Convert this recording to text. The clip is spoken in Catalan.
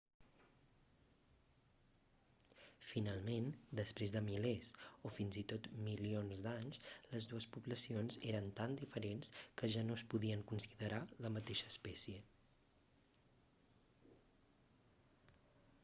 finalment després de milers o fins i tot milions d'anys les dues poblacions eren tan diferents que ja no es podien considerar la mateixa espècie